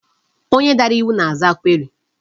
Onye dara iwu na-aza query.